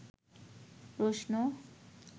প্রশ্ন